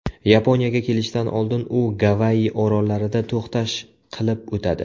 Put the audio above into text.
Yaponiyaga kelishdan oldin u Gavayi orollarida to‘xtash qilib o‘tadi.